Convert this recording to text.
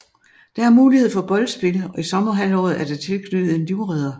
Der er mulighed for boldspil og i sommerhalvåret er der tilknyttet en livredder